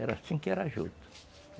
Era assim que era a juta.